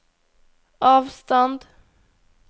avstand